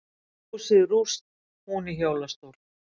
Húsið rúst, hún í hjólastól